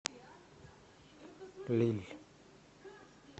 лилль